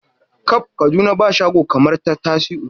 Kab Kaduna ba shago kamar ta Tasiu.